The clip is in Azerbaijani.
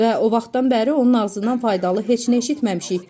Və o vaxtdan bəri onun ağzından faydalı heç nə eşitməmişik.